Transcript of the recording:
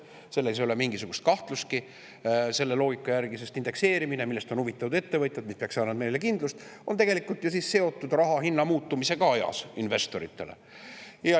Selles ei ole mingisugustki kahtlust selle loogika järgi, et indekseerimine, millest on huvitatud ettevõtjad – ja see peaks meile kindlust andma –, on tegelikult ju siis seotud raha hinna muutumisega investoritele.